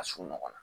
Ka surun ɲɔgɔn na